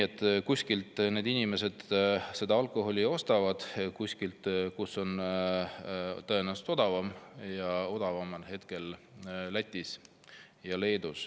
Aga kuskilt inimesed alkoholi ostavad, kuskilt, kus see on tõenäoliselt odavam, ja odavam on hetkel Lätis ja Leedus.